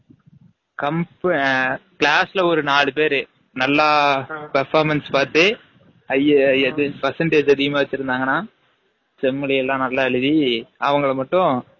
comp ஆ class ல ஒரு நாலு நல்லா performance பாத்து ஐ எது percentage அதிகமா வச்சு இருந்தாங்கனா, sem லை எல்லம் நல்லா எலுதி அவங்கல மட்டும்